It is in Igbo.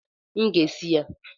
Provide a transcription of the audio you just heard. M ga-esi ya